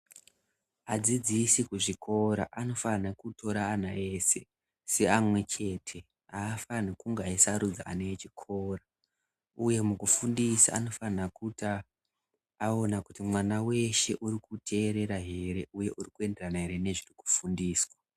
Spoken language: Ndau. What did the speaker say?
Adzidzisi kuzvikora anofana kutora ana ese seana amwechete aafani kunge eisarudza kuchikora uye mukufundisa anofana kuti aone kuti mwana weshe uri kuteerera here uye uri kuenderana ere nezviri kufundiswa.